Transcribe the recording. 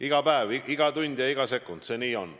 Iga päev, iga tund ja iga sekund – nii see on.